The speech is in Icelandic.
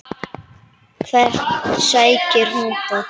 Hvert sækir hún það?